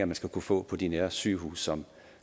man skal kunne få på de nærhedssygehuse som